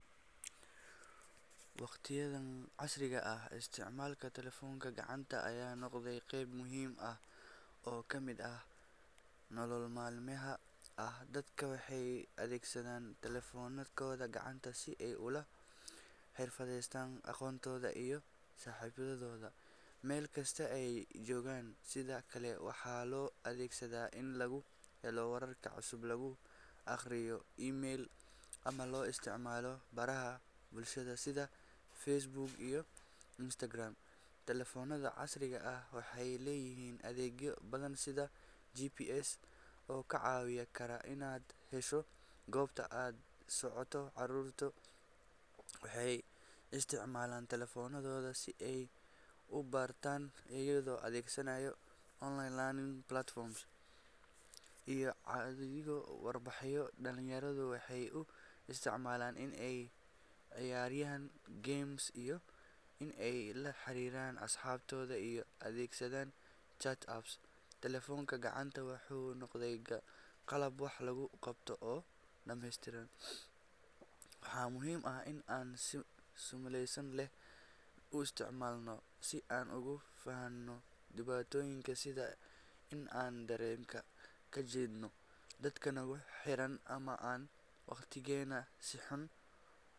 Waqtigan casriga ah, isticmaalka taleefannada gacanta ayaa noqday qayb muhiim ah oo ka mid ah nolosha maalinlaha ah. Dadka waxay u adeegsadaan taleefannadooda gacanta si ay ula xiriiraan qoysaskooda iyo saaxiibadooda meel kasta oo ay joogaan. Sidoo kale, waxaa loo adeegsadaa in lagu helo wararka cusub, lagu akhriyo emails, ama loo isticmaalo baraha bulshada sida Facebook iyo Instagram. Taleefannada casriga ah waxay leeyihiin adeegyo badan sida GPS oo kaa caawin kara inaad hesho goobta aad u socoto. Caruurtu waxay isticmaalaan taleefannadooda si ay u bartaan, iyagoo adeegsanaya online learning platforms iyo codsiyo waxbarasho. Dhallinyaradu waxay u isticmaalaan in ay ciyaaraan games iyo in ay la xiriiraan asxaabtooda iyagoo adeegsanaya chat apps. Taleefanka gacanta wuxuu noqday qalab wax lagu qabto oo dhameystiran. Waxaa muhiim ah in aan si masuuliyad leh u isticmaalno, si aan uga fogaanno dhibaatooyinka sida in aan dareenka ka jeedno dadka nagu xeeran ama aan waqtigeena si xun.